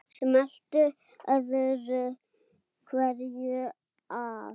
Smellti öðru hverju af.